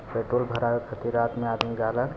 petrol भरावे के फिराक में आदमी